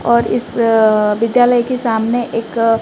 और इस विद्यालय के सामने एक--